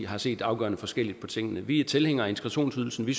har set afgørende forskelligt på tingene vi er tilhængere af integrationsydelsen vi